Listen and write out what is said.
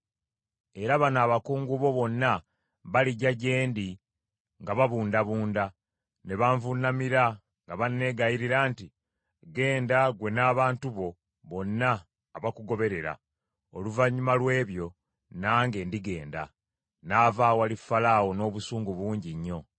Era bano abakungu bo bonna balijja gye ndi nga babundabunda, ne banvuunamira nga banneegayirira nti, ‘Genda, ggwe n’abantu bo bonna abakugoberera.’ Oluvannyuma lw’ebyo nange ndigenda.” N’ava awali Falaawo n’obusungu bungi nnyo.